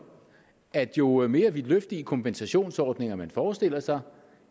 at jo mere vidtløftige kompensationsordninger man forestiller sig